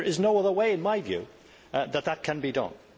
there is no other way, in my view, that this can be done.